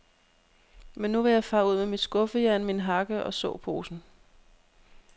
Men nu vil jeg fare ud med mit skuffejern, min hakke og såposen.